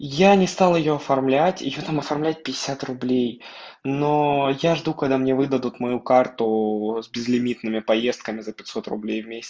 я не стала её оформлять ещё там оформлять пятьдесят руб но я жду когда мне выдадут мою карту с безлимитными поездками за пятьсот руб